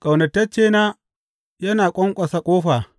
Ƙaunataccena yana ƙwanƙwasa ƙofa.